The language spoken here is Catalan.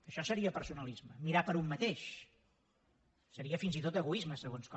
això seria personalisme mirar per un mateix seria fins i tot egoisme segons com